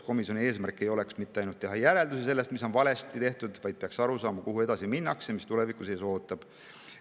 Komisjoni eesmärk ei oleks mitte ainult teha järeldusi sellest, mis on valesti tehtud, vaid ta peaks aru saama, kuhu edasi minnakse ja mis tulevikus ees ootab.